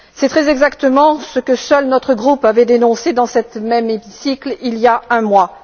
C'est très exactement ce que seul notre groupe avait dénoncé dans ce même hémicycle il y a un mois.